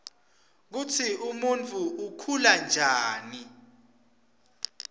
kutsi umurifu ukhula ryani